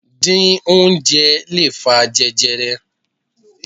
Díín oúnjẹ lè fa jẹjẹrẹ.